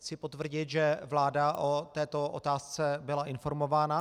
Chci potvrdit, že vláda o této otázce byla informována.